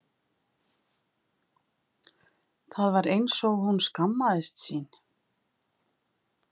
Það var eins og hún skammaðist sín.